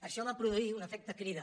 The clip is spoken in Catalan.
això va produir un efecte crida